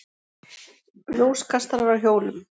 Ljóskastarar á hjólum.